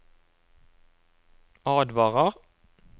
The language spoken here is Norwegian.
advarer